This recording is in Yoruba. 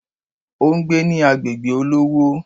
O n gbé ní agbègbè olówó